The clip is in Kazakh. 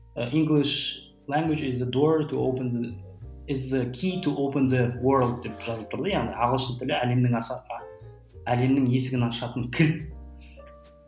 деп жазылып тұр да яғни ағылшын тілі әлемнің әлемнің есігін ашатын кілт